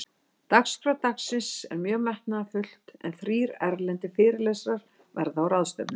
Dagskrá dagsins er mjög metnaðarfull, en þrír erlendir fyrirlesarar verða á ráðstefnunni.